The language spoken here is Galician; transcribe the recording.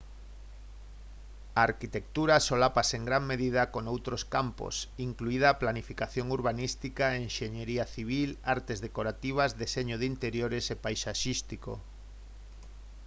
a arquitectura solápase en gran medida con outros campos incluída a planificación urbanística enxeñería civil artes decorativas deseño de interiores e paisaxístico